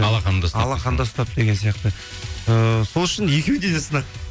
алақанда ұстап алақанда ұстап деген сияқты ыыы сол үшін екеуінде де сынақ